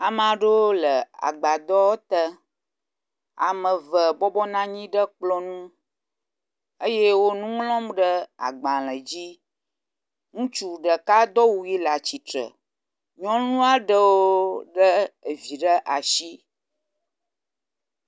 Ame aɖewo le agbadɔ te. Ame eve bɔbɔnɔ anyi ɖe kplɔ nu eye wo nu ŋlɔm ɖe agbale dzi. Ŋutsu ɖeka do awu ʋi le atsitre. Nyɔnu aɖewo le vi ɖe asi.